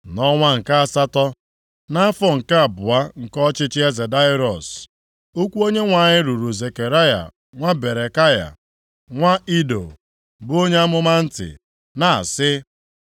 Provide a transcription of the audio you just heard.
Nʼọnwa nke asatọ, nʼafọ nke abụọ nke ọchịchị eze Daraiọs, okwu Onyenwe anyị ruru Zekaraya nwa Berekaya, nwa Ido, bụ onye amụma ntị, na-asị,